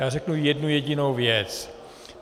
Já řeknu jednu jedinou věc.